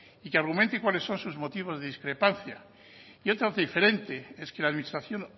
y que argumente cuáles son sus motivos de discrepancia y otra diferente es que la administración